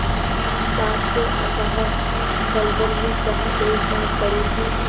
पाप के अथाह दलदल में जहाँ एक बार पड़े कि